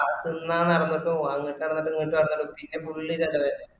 അ തിന്നാൻ നടന്നിട്ടും അങ്ങുട്ടു നടന്നിട്ടും ഇങ്ങട്ട് നടന്നിട്ടും പിന്ന full ചെലവ്‌ തന്നെ